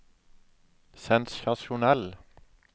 sensasjonell